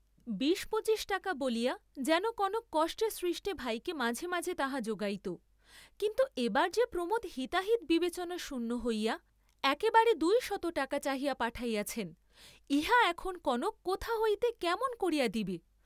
বিশ, পঁচিশ টাকা বলিয়া যেন কনক কষ্টে সৃষ্টে ভাইকে মাঝে মাঝে তাহা যোগাইত, কিন্তু এবার যে প্রমোদ হিতাহিত বিবেচনা শূন্য হইয়া একেবারে দুই শত টাকা চাহিয়া পাঠাইয়াছেন, ইহা এখন কনক কোথা হইতে কেমন করিয়া দিবে?